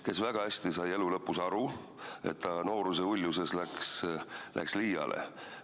Ta sai väga hästi elu lõpus aru, et ta nooruse uljuses läks liiale.